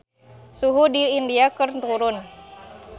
Suhu di India keur turun